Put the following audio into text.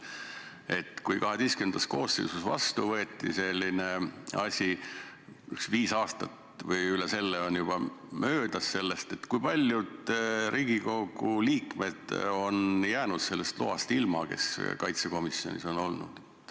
Sellest ajast, kui selline asi XII koosseisus vastu võeti – viis aastat või üle selle on juba möödas –, kui paljud Riigikogu liikmed, kes on olnud kaitsekomisjonis, on jäänud sellest loast ilma?